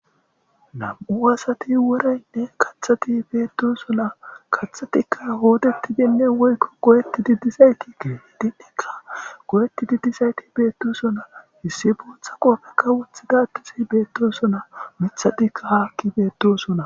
Nam'u asati worayne kaththati beetosona. Kathatika hooodetidi woyko goyetidi dizayti keehidinneka goyetidi dizati beetosona. Issi bootha qoofeka wothida addezi beetosona.miththatika haaki beetosona.